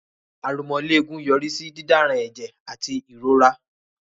Aromọléegun yọrí sí dídáranẹ̀jẹ̀ àti ìrora